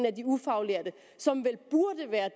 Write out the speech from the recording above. af de ufaglærte som vel burde være